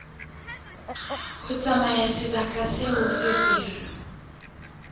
ho tsamaya sebakeng seo feberu